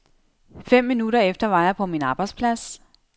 Fem minutter efter var jeg på min arbejdsplads.